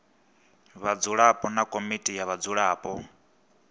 vhadzulapo na komiti ya vhadzulapo